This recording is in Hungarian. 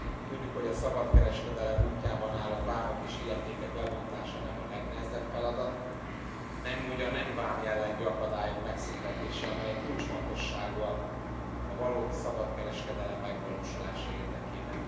Tudjuk, hogy a szabad kereskedelem útjában álló vámok és illetékek lebontása nem a legnehezebb feladat, nem úgy a nem vámjellegű akadályok megszüntetése, amely kulcsfontosságú a valódi szabad kereskedelem megvalósulása érdekében.